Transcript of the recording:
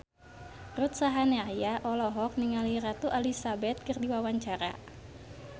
Ruth Sahanaya olohok ningali Ratu Elizabeth keur diwawancara